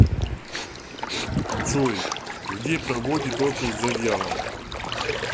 джой где проводит отпуск завьялова